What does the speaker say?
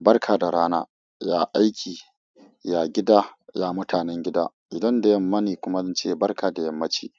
barka da rana, ya aiki, ya gida, ya mutanen gida. Idan da yamma ne kuma zan ce barka da yammaci.